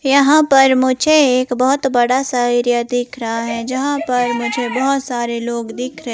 यहां पर मुझे एक बहोत बड़ा सा एरिया दिख रहा है जहां पर मुझे बहोत सारे लोग दिख र--